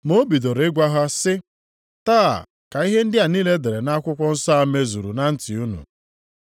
Ma o bidoro ịgwa ha sị, “Taa ka ihe ndị a e dere nʼakwụkwọ nsọ a mezuru na ntị unu.”